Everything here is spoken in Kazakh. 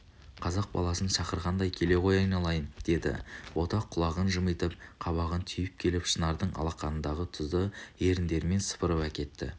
қазақ баласын шақырғандай келе ғой айналайын деді бота құлағын жымитып қабағын түйіп келіп шынардың алақанындағы тұзды еріндерімен сыпырып әкетті